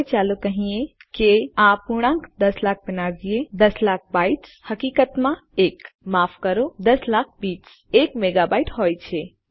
હવે ચાલો કહીએ કે આપણે આ પૂર્ણાંક દસ લાખ બનાવીએ દસ લાખ બાઇટ્સ હકીકત માં એક માફ કરો દસ લાખ બીટ્સ એક મેગાબાઇટ હોય છે